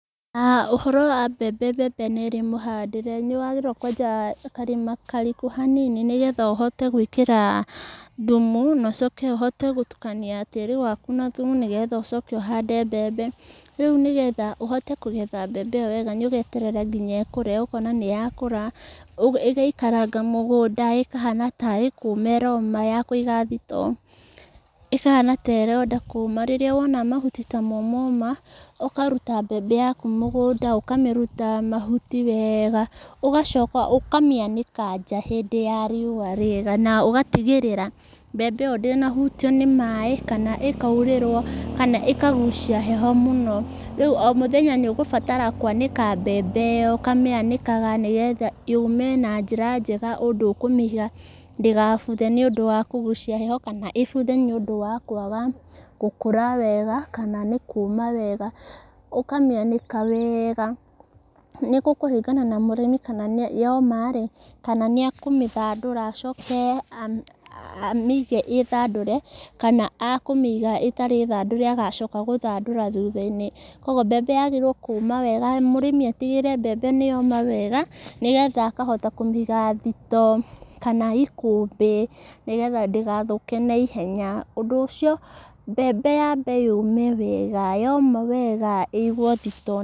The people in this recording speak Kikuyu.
Ũhoro wa mbembe, mbembe nĩ ĩrĩ mũhandĩre, nĩ wagĩrĩire kwenja karima kariku hanini, nĩ getha ũhote gwĩkĩra thumu, nocoko ũhote gũtukania tĩri waku na thumu, nĩgetha ũcoke ũhande mbembe, rĩu nĩ getha ũhote kũgetha mbembe ĩyo wega nĩ ũgeterera nginya ĩkũre, ũkona nĩyakũra, ũ ĩgaikaranga mũgũnda, ĩkahana tarĩ kũũma ĩroma ya kũiga thito, ĩkahana taĩrenda kũũma, rĩrĩa wona mahuti ta momoma, ũkaruta mbembe yaku mũgũnda, ũkamĩruta mahuti weega, ũgacoka, ũkamĩanĩka nja hĩndĩ ya riũwa rĩega, na ũgatigĩrĩra mbembe ĩyo ndĩnahũtio nĩ maĩ, kana ĩkairĩrwo, kana ĩkagucia heho mũno, rĩu o mũthenya nĩ ũgũbatara kwanĩka mbembe ĩyo, ũkamĩanĩkaga nĩgetha yũme, na njĩra njega, ũndũ ũkũmĩiga ndĩgabuthe, nĩũndũ wa kũgucia heho, kana ĩbuthe nĩũndũ wa kwaga gũkũra wega, kana nĩ kũũma wega, ũkamĩanĩka weega, nĩ gũkũringana na mũrĩmi kana yoma rĩ, kana nĩekũmĩthandũra, acoke a amĩige ĩthandũre, kana ekũmĩiga ĩtarĩ thandũre, agacoka gũthandũra thutha-inĩ, koguo mbembe yagĩrĩirwo kũũma wega, mũrĩmi atigĩrĩre mbemebe nĩ yoma wega, nĩgetha akahota kũmĩiga thito, kana ikũmbĩ, nĩgetha ndĩgathũke naihenya, ũndũ ũcio mbembe yambe yũme wega, yoma wega ĩguo thito.